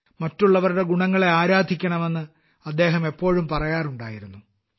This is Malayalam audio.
മറ്റുള്ളവരുടെ ഗുണങ്ങളെ ആരാധിക്കണമെന്ന് അദ്ദേഹം എപ്പോഴും പറയാറുണ്ടായിരുന്നു